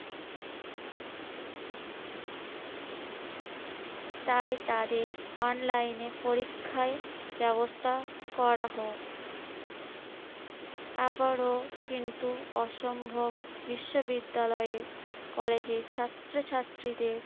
তাই তাদের online এ পরীক্ষায় ব্যবস্থা করা হোক। আবারো কিন্তু অসম্ভব বিশ্ববিদ্যালয়ে কলেজের ছাত্রছাত্রীদের